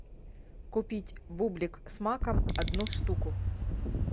купить бублик с маком одну штуку